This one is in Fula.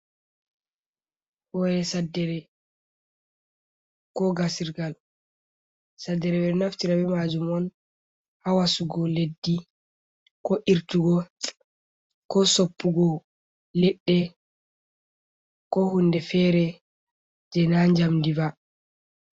Hoye saddere, ko gasirgal. saddere ɓeɗo be majum on hawasugo leddi, ko irtugo, ko soppugo leɗɗe ko hunde fere je na jamdi va.